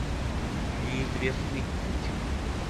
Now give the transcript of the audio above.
неизвестный путин